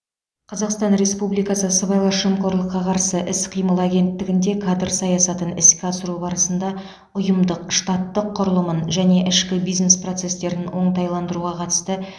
қазақстан республикасы сыбайлас жемқорлыққа қарсы іс қимыл агенттігінде кадр саясатын іске асыру барысында ұйымдық штаттық құрылымын және ішкі бизнес процестерін оңтайландыруға қатысты